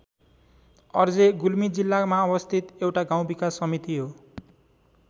अर्जे गुल्मी जिल्लामा अवस्थित एउटा गाउँ विकास समिति हो।